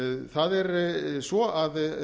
það er svo að